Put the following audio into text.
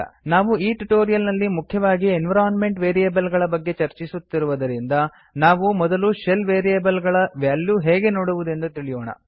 ನಾವು ಈ ಟ್ಯುಟೋರಿಯಲ್ ನಲ್ಲಿ ಮುಖ್ಯವಾಗಿ ಎನ್ವಿರೋನ್ಮೆಂಟ್ ವೇರಿಯೇಬಲ್ ಗಳ ಬಗ್ಗೆ ಚರ್ಚಿಸುತ್ತಿರುವುದರಿಂದ ನಾವು ಮೊದಲು ಶೆಲ್ ವೇರಿಯೇಬಲ್ ಗಳ ವ್ಯಾಲ್ಯೂ ಹೇಗೆ ನೋಡುವುದೆಂದು ತಿಳಿಯೋಣ